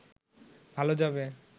ভালো যাবে